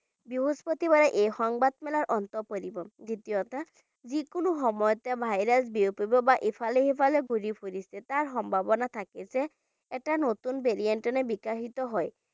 বৃহস্পতিবাৰে এই সংবাদ মেলৰ অন্ত পৰিব দ্বিতীয়তে যিকোনো সময়তে virus বিয়পিব বা ইফালে সিফালে ঘূৰি ফুৰিছে তাৰ সম্ভাৱনা থাকিলে এটা নতুন variant ৰ বিকাশিত হয়